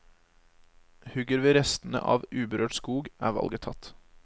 Hugger vi restene av uberørt skog, er valget tatt.